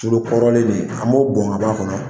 Tulu kɔrɔlen nun an m'o bɔn ka bɔ a kɔnɔ.